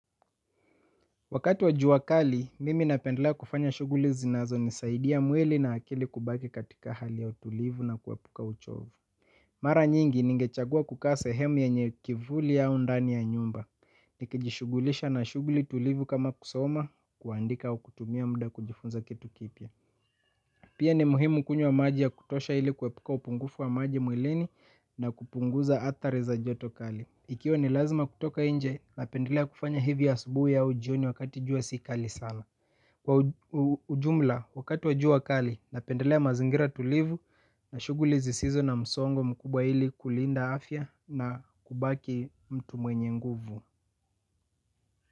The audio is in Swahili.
Wakati wa jua kali, mimi napendlea kufanya shuguli zinazo nisaidia mwili na akili kubaki katika hali ya utulivu na kuepuka uchovu. Mara nyingi ningechagua kukaa sehemu yenye kivuli au ndani ya nyumba, ni kijishugulisha na shugli tulivu kama kusoma kuandika au kutumia mda kujifunza kitu kipya. Pia ni muhimu kunywa maji ya kutosha ili kuepuka upungufu wa maji mwilini na kupunguza athari za joto kali. Ikiwa ni lazma kutoka inje napendelea kufanya hivi asubui au jioni wa kati jua si kali sana. Kwa ujumla wakati wa jua kali napendelea mazingira tulivu na shuguli zisizo na msongo mkubwa ili kulinda afya na kubaki mtu mwenye nguvu.